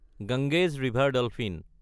Ganges river dolphin